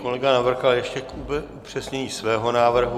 Kolega Navrkal ještě k upřesnění svého návrhu.